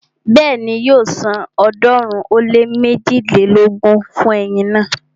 Bẹ́ẹ̀ni, yóò san ọ̀ọ́dúnrún ó lé méjilélógún fún eyin náà